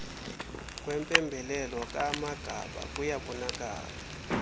kwempembelelo kaamagaba kuyabonakala